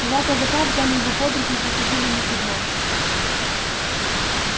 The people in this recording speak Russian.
два казака взяли его под руки и посадили на седло